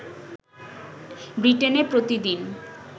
ব্রিটেনে প্রতিদিন